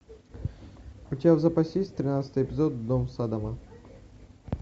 у тебя в запасе есть тринадцатый эпизод дом саддама